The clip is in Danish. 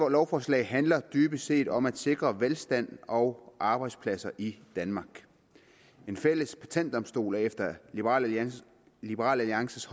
lovforslag handler dybest set om at sikre velstand og arbejdspladser i danmark en fælles patentdomstol er efter liberal alliances liberal alliances